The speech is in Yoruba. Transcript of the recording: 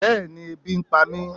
bẹẹni ebí n pámi